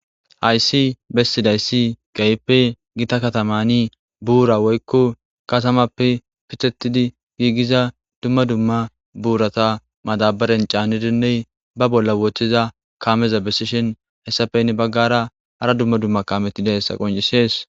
hayssi bessidayssi gayeppe gita katamani buura woykko katamappe pithetidi giigiza dumma dumma buurata madabaren caanidinney ba bolla wooththiza kaameza bessishin hessafeynne baggara ara dumma dumma kametidessa qoncisees